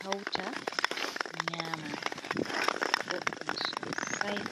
hauta nyama boɗɗum sosai.